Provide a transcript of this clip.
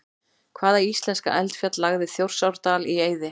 Hvaða íslenska eldfjall lagði Þjórsárdal í eyði?